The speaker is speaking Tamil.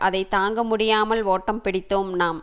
அதை தாங்க முடியாமல் ஒட்டம் பிடித்தோம் நாம்